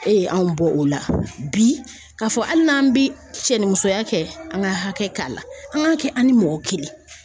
E ye anw bɔ o la bi k'a fɔ hali n'an bi cɛnnimusoya kɛ an ka hakɛ k'a la an k'a kɛ an ni mɔgɔ kelen.